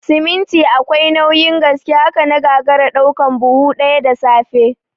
Siminti akwai nauyin gaske, haka na gagara ɗaukan buhu ɗaya da safe